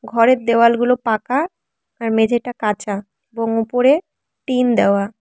ঘরের দেওয়ালগুলো পাকা আর মেঝেটা ঘরের কাঁচা এবং উপরে টিন দেওয়া।